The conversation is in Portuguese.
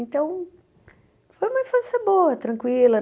Então, foi uma infância boa, tranquila.